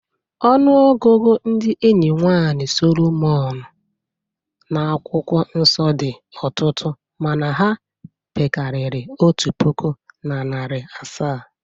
Ọnụọgụgụ ndị enyi nwaanyị Solomon n’akwụkwọ nsọ dị ọtụtụ mana ha pekarịrị otu puku na narị asaa.